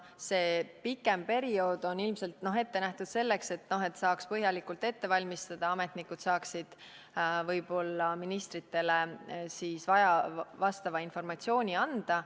See pikem periood on ilmselt ette nähtud selleks, et saaks põhjalikult ette valmistada, ametnikud saaksid võib-olla ministritele vastava informatsiooni anda.